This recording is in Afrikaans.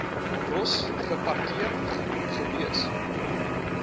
ross geparkeer gewees